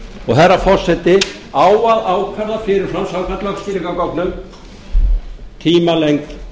og herra forseti á að ákvarða fyrir fram samkvæmt lögskýringargögnum tímalengd